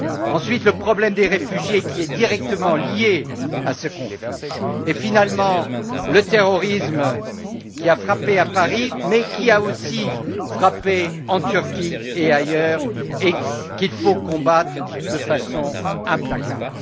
Ensuite, le problème des réfugiés, qui est directement lié à ce conflit, et finalement le terrorisme, qui a frappé à Paris, mais qui a aussi frappé en Turquie et ailleurs et qu'il faut combattre de façon implacable.